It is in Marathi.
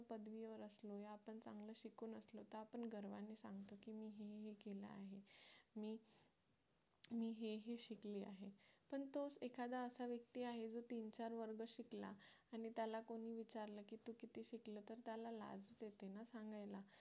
मी हे हे शिकले आहे पण तोच असा एखादा व्यक्ती आहे की दोन-चार वर्ग शिकला आणि त्याला कोणी विचारलं की तू किती शिकला तर त्याला लाज वाटते ना सांगायला